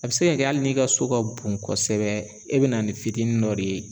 A be se ka kɛ hali n'i ka so ka bon kosɛbɛ, e be na ni fitinin dɔ de ye